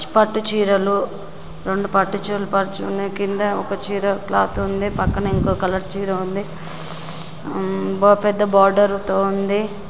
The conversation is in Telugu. పట్టు చీరలు రెండు పట్టు చీరలు పరిచి ఉన్నయి. కింద ఒక చీర క్లాత్ ఉంది పక్కన ఇంకో కలర్ చీర ఉంది. ఓ పెద్ద బార్డర్ తో ఉంది.